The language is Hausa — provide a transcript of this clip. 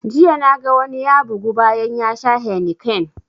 Jiya na ga wani ya bugu bayan ya sha heineken